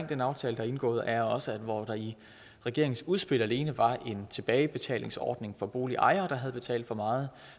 den aftale der er indgået er også at hvor der i regeringens udspil alene var en tilbagebetalingsordning for boligejere der havde betalt for meget